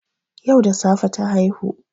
Yau da safe ta haihu